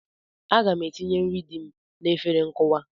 Aga m etinye nri dị m n'efere nkụwa.